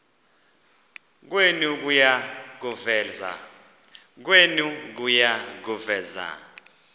kwenu kuya kuveza